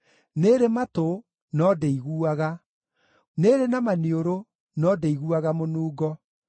nĩĩrĩ matũ, no ndĩiguaga, nĩĩrĩ na maniũrũ, no ndĩiguaga mũnungo;